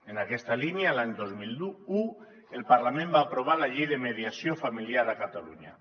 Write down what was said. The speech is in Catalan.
en aquesta línia l’any dos mil un el parlament va aprovar la llei de mediació familiar a catalunya